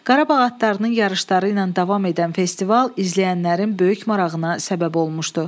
Qarabağ adlarının yarışları ilə davam edən festival izləyənlərin böyük marağına səbəb olmuşdu.